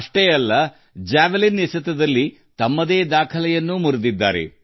ಅಷ್ಟೇ ಅಲ್ಲ ತಮ್ಮದೇ ಜಾವೆಲಿನ್ ಥ್ರೋ ದಾಖಲೆಯನ್ನೂ ಅವರು ಮುರಿದಿದ್ದಾರೆ